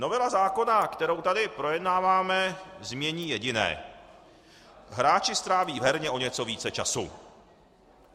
Novela zákona, kterou tady projednáváme, změní jediné: Hráči stráví v herně o něco více času.